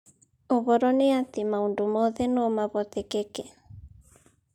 Uhoro ni ati maũndũ mothe no mahotekeke